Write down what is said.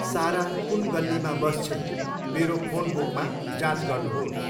सारा कुन गल्लीमा बस्छिन्, मेरो फोन बुकमा जाँच गर्नुहोस्।